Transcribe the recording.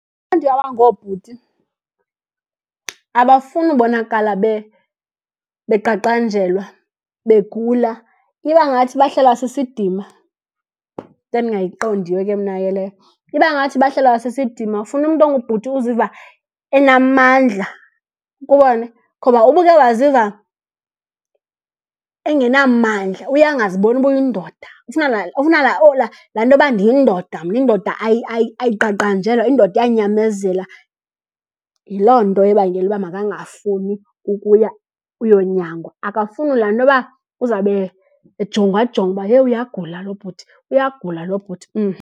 Abantu abangobhuti abafuni ubonakala beqaqanjelwa, begula, iba ngathi bahlelwa sisidima. Into endingayiqondiyo ke mna ke leyo. Iba ngathi bahlelwa sisidima. Ufuna umntu ongubhuti uziva enamandla, ukubone. Ngoba uba uke waziva engenamandla uye angaziboni uba uyindoda. Ufuna laa, ufuna laa , laa ntoba ndiyindoda mna, indoda ayiqaqanjelwa, indoda iyanyamezela. Yiloo nto ebangela uba makangafuni ukuya uyonyangwa. Akafuni laa ntoba uzawube ejongwajongwa uba hee uyagula lo bhuti, uyagula lo bhuti .